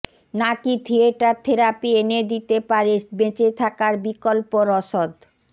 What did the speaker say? নাকি theatre therapy এনে দিতে পারে বেঁচে থাকার বিকল্প রসদ